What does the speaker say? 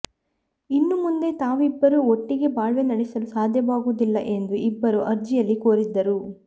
ಇನ್ನು ಮುಂದೆ ತಾವಿಬ್ಬರೂ ಒಟ್ಟಿಗೆ ಬಾಳ್ವೆ ನಡೆಸಲು ಸಾಧ್ಯವಾಗುವುದಿಲ್ಲ ಎಂದು ಇಬ್ಬರೂ ಅರ್ಜಿಯಲ್ಲಿ ಕೋರಿದ್ದರು